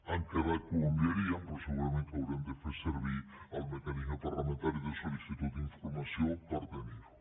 han quedat que ho enviarien però segurament que haurem de fer servir el mecanisme parlamentari de sol·licitud d’informació per tenir ho